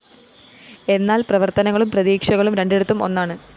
എന്നാല്‍ പ്രവര്‍ത്തനങ്ങളും പ്രതീക്ഷകളും രണ്ടിടത്തും ഒന്നാണ്